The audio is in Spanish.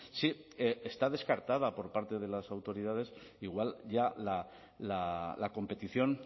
sí está descartada por parte de las autoridades igual ya la competición